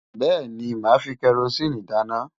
Bẹ́ẹ̀ni, màá fi kẹrosíìnì dáná.